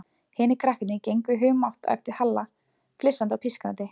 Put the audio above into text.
Hinir krakkarnir gengu í humátt á eftir Halla, flissandi og pískrandi.